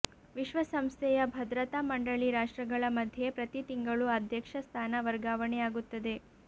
ವಿಶ್ವಸಂಸ್ಥೆಯ ಭದ್ರತಾ ಮಂಡಳಿ ರಾಷ್ಟ್ರಗಳ ಮಧ್ಯೆ ಪ್ರತಿ ತಿಂಗಳು ಅಧ್ಯಕ್ಷ ಸ್ಥಾನ ವರ್ಗಾವಣೆ ಆಗುತ್ತದೆ